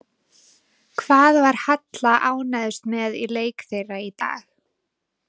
Hvað var Halla ánægðust með í leik þeirra í dag?